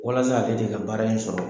Walasa ale de ka baara in sɔrɔ.